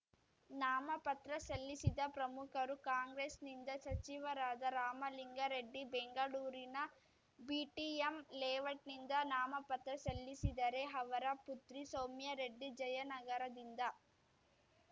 ನಾಮಪತ್ರ ಸಲ್ಲಿಸಿದ ಪ್ರಮುಖರು ಕಾಂಗ್ರೆಸ್‌ನಿಂದ ಸಚಿವರಾದ ರಾಮಲಿಂಗಾರೆಡ್ಡಿ ಬೆಂಗಳೂರಿನ ಬಿಟಿಎಂ ಲೇಔಟ್‌ನಿಂದ ನಾಮಪತ್ರ ಸಲ್ಲಿಸಿದರೆ ಅವರ ಪುತ್ರಿ ಸೌಮ್ಯರೆಡ್ಡಿ ಜಯನಗರದಿಂದ